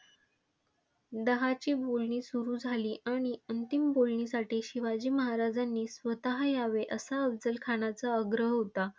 दहा ची बोलणी सुरु झाली आणि अंतिम बोलणीसाठी शिवाजी महाराजांनी स्वतः यावे असा अफझल खानाचा आग्रह होता,